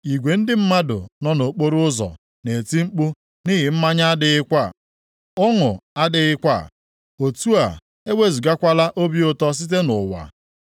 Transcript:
Igwe ndị mmadụ nọ nʼokporoụzọ na-eti mkpu nʼihi na mmanya adịghịkwa. Ọṅụ adịghịkwa, otu a, ewezugakwala obi ụtọ site nʼụwa.